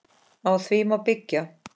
Á því má byggja.